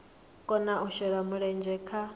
kona u shela mulenzhe kha